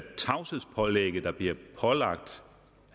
tavshedspålægget der blev pålagt